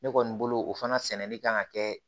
Ne kɔni bolo o fana sɛnɛli kan ka kɛ